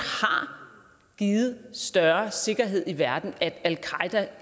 givet større sikkerhed i verden at al qaeda